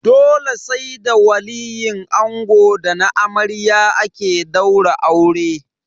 Dole sai da waliyin ango da na amarya ake daura aure.